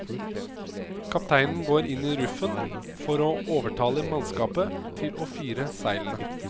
Kapteinen går inn i ruffen for å overtale mannskapet til å fire seilene.